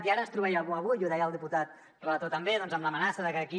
i ara ens trobàvem avui i ho deia el diputat relator també doncs amb l’amenaça de que d’aquí